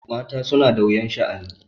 Mata suna da wuyan sha'ani.